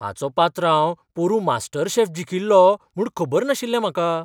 हाचो पात्रांव पोरुं मास्टरशेफ जिखील्लो म्हूण खबर नाशिल्लें म्हाका!